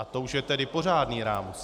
A to už je tedy pořádný rámus.